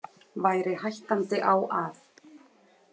Væri hættandi á að.